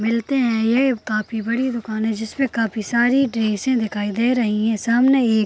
मिलते हैं यह काफी बड़ी दुकान जिसमें काफी सारी ड्रेस दिखाई दे रही है सामने --